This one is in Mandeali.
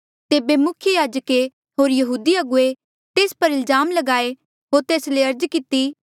तेबे मुख्य याजके होर यहूदी अगुवे तेस पर इल्जाम लगाए होर तेस ले अर्ज किती